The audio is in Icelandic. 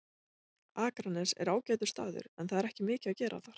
Akranes er ágætur staður en það er ekki mikið að gera þar.